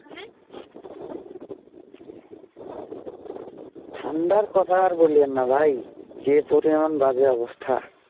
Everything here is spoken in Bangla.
ঠান্ডা কথা আর বলেন না ভাই যে পরিমাণ বাআযে অবস্থা